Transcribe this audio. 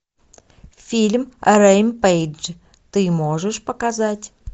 фильм рэмпейдж ты можешь показать